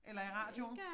Eller i radioen